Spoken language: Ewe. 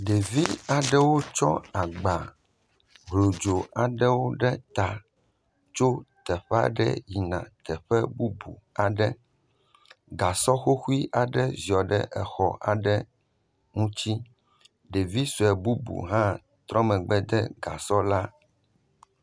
Ɖevi aɖewo kɔ agba hlodzo aɖe ɖe ta, tso teƒe aɖe yina teƒe bubu aɖe. Gasɔ hohue aɖe zɔ ɖe exɔ aɖe ŋuti. Ɖevi sue bubu hã trɔ megbe de gasɔ la.